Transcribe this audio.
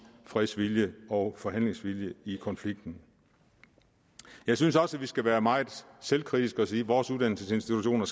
fredsvilje og forhandlingsvilje i konflikten jeg synes også at vi skal være meget selvkritiske og sige at vores uddannelsesinstitutioner